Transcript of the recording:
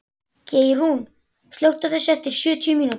Geirrún, slökktu á þessu eftir sjötíu mínútur.